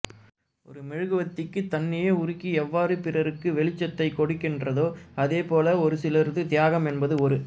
ஒரு மெழுகுவர்த்தி தன்னையே உருக்கி எவ்வாறு பிறருக்கு வெளிச்சத்தைக்கொடுக்கின்றதோ அதே போல ஒருசிலரது தியாகம் என்பது ஒரு